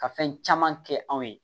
Ka fɛn caman kɛ anw ye